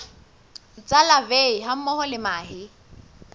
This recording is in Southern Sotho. tsa larvae hammoho le mahe